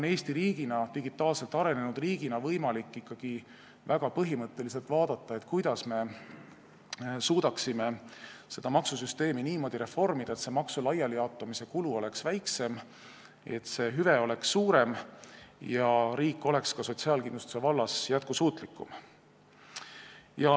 Eestil on digitaalselt arenenud riigina võimalik ikkagi põhimõtteliselt vaadata, kuidas me suudaksime maksusüsteemi niimoodi reformida, et maksu laialijaotamise kulu oleks väiksem, hüve oleks suurem ja riik oleks ka sotsiaalkindlustuse vallas jätkusuutlikum.